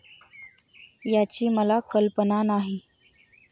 याची मला कल्पना नाही.